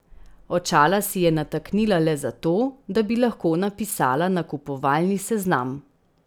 Očala si je nataknila le zato, da bi lahko napisala nakupovalni seznam.